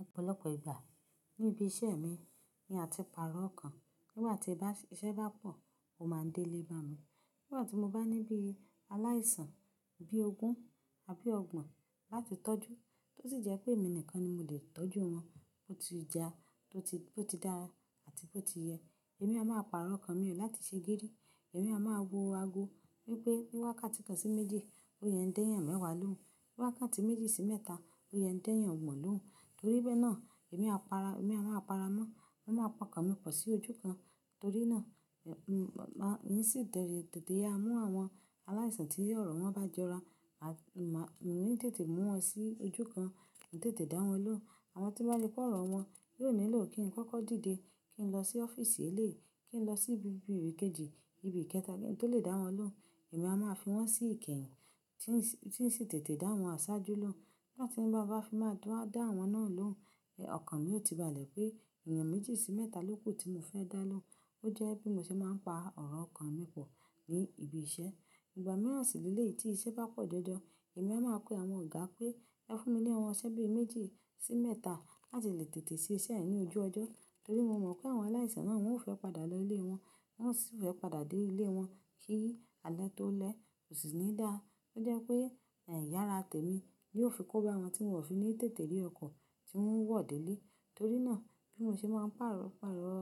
Ọ̀pọ̀lọpọ̀ ìgbà ní ibi iṣẹ́ mi ni à ti pàrọ̀ ọkàn nígbà tí iṣẹ́ bá pọ̀, ó máa ń délé bá mi. Nígbà tí mo bá ní bí aláìsàn bí ogún àbí ọgbọ̀n láti tọ́jú tó sì jẹ́ pé èmi nìkan ni mo lè tọ́jú wọn, tó ti ja, tó ti dára àti bó ti yẹ, èmi a máa pàrọ̀ ọkàn mi ò láti ṣe géérí. Èmi a máa wo ago wípé ní wákàtí kan sí méjì ló yẹn dẹ́yàn mẹ́wàá lóhùn, ní wákàtí méjì sí mẹ́ta ló yẹn dẹ́yàn o gbon lóhùn. Torí bẹ́ẹ̀ náà èmi a máa para mọ́, màá pa ọkàn mi pọ̀ sí ojú kan torí náà, èmi sì tètè á mú àwọn aláìsàn tí ọ̀rọ̀ wọn bá jọra, èmi sì tètè mú wọn sí ojú kan, tètè dá wọn lóhùn. Àwọ́n tí bá ripé ọ̀rọ̀ wọn, yóò nílò kí n kọ́kọ́ dìde, kí n lọ sí ọ́fíìsì elé, kí n lọ sí ibi ìgbékèjí, ibi ìkẹta tó lè dá wọn lóhùn. Èmi a máa fi wọ́n sí ikehin tí ń sì tètè dá wọn sáájú lóhùn. Nígbà tí mo bá fi máa dá wọn náà lóhùn, ọkàn mi ò ti balẹ̀ pé èèyàn méjì sí mẹ́ta ló kù tí mo fẹ́ dá lóhùn. Ó jẹ́ bí mo ṣe máa ń pa ọ̀rọ̀ ọkàn mi pọ̀ ní ibi iṣẹ́. Ìgbà mìíràn sì ní eleyi tí iṣẹ́ bá pọ̀ jọjọ, èmi a máa pe àwọn ọ̀gá pé ẹ fún mi ní àwọn ṣẹ́bì méjì sí mẹ́ta láti lè tètè ṣe iṣẹ́ ẹ ní ojú ọjọ́. Torí mo mọ̀ pé àwọn aláìsàn náà wọn ò fẹ́ padà lọ ilé wọn, wọ́n sì fẹ́ padà dé ilé wọn kí alẹ́ tó lẹ́, kò sì ní dà. Ó jẹ́ pé ai yara tèmi ni yóò fi kó bá àwọn tí wọn ò fi ní tètè rí ọkọ̀ tí wọ́n wọ̀ dé ilé. Torí náà bí mo ṣe máa ń pàrọ̀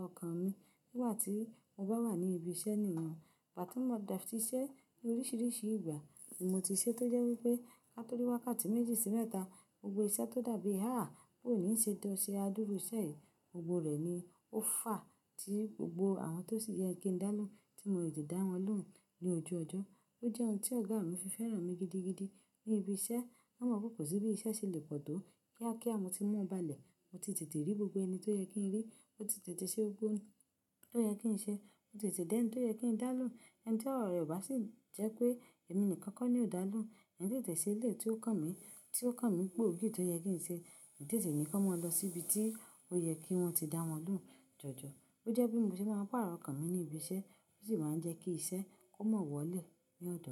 ọkàn mi nígbà tí mo bá wà ní ibi iṣẹ́ nìkan. Ìgbà tí mo bá ti ṣe iṣẹ́ ní oríṣiríṣi ìgbà tí mo ti ṣe tó jẹ́ wípé ká tó rí wákàtí méjì sí mẹ́ta, gbogbo iṣẹ́ tó dàbí háà bó ò ní ṣe é tó ṣe adúrú iṣẹ́ yẹn, gbogbo rẹ̀ ni ó fà á tí gbogbo àwọn tó sì yẹ kí n dá lóhùn tí mo ò lè dá wọn lóhùn ní ojú ọjọ́. Ó jẹ́ ohun tí ọ̀gá mi fi fẹ́ràn mi gidigidi ní ibi iṣẹ́. Wọ́n mọ̀ pé kò sí bí iṣẹ́ ṣe lè pọ̀ tó kí kia mo tí wọn balẹ̀, mo ti tètè rí gbogbo ẹni tó yẹ kí n rí, mo ti tètè ṣe ohun tó yẹ kí n ṣe, mo ti tètè dẹ́ń tí ó yẹ kí n dá lóhùn. Ẹni tí ọ̀rọ̀ rẹ̀ ò bá sì jẹ́ pé èmi nìkan kọ́ ni ò dá lóhùn, ẹni tí tètè sé ilé tí ó kàn mí, tí ó kàn mí pè, ògì tó yẹ kí n ṣe, tètè ni kí wọn lọ síbi tí ó yẹ kí wọ́n ti dá wọn lóhùn jọjọ. Ó jẹ́ bí mo ṣe máa ń pàrọ̀ ọkàn mi ní ibi iṣẹ́, ó sì máa ń jẹ́ kí iṣẹ́ kó mọ́ wọlé ní ọ̀dọ̀.